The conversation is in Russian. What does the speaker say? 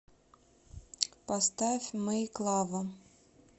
поставь мэйклава